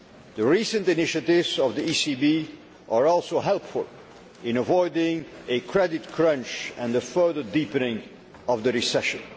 The recent initiatives of the ECB are also helpful in avoiding a credit crunch and a further deepening of the recession.